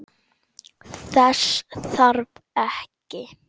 Þess þarf ekki.